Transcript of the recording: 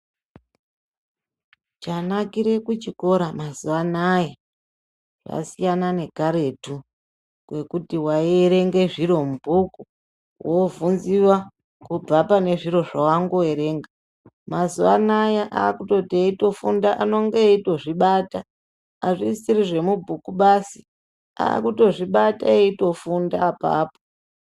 Chanakire kuchikora mazuwa anaya zvasiyana nekaretu kwekuti waierenge zviro mubhuku wovhinziwa kubva pane zviro zvawangoerenga mazuwa anaya akutoti eitofunda anenge eitozvibata azvisisiri zvemubhuku vasi akutozvibata eitofunda apapo.